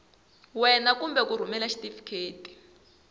wena kumbe ku rhumela xitifiketi